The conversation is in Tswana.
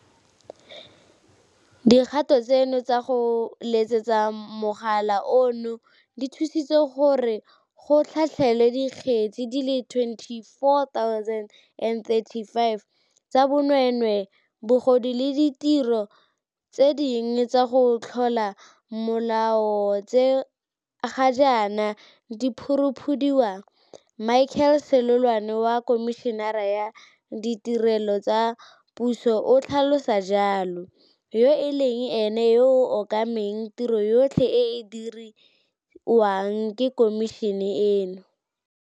Motšhini wa go thusa go hema o o bidiwang Continuous Positive Airway Pressure, CPAP, o thusa balwetse ba ba nang le matshwao a a seng bogale a COVID-19 go hema botoka ka go ba butswelela mowa o o itekanetseng mo dikarolong tsa bona tsa go hema gore di se tswalege.